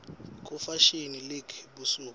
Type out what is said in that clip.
kunefashini lelungele busuku